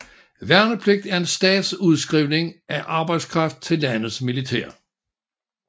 Værnepligt er en stats udskrivning af arbejdskraft til landets militær